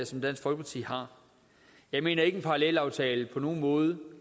som dansk folkeparti har jeg mener ikke at en parallelaftale på nogen måde